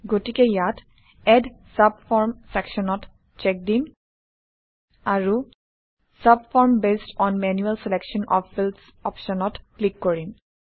গতিকে ইয়াত add subform চ্চেকবক্সত চ্চেক দিম আৰু subform based on manual selection of fields অপশ্যনত ক্লিক কৰিম